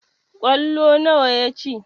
Ƙwallo nawa ya ci?